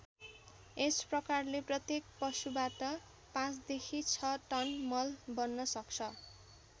यस प्रकारले प्रत्येक पशुबाट ५ देखि ६ टन मल बन्न सक्छ।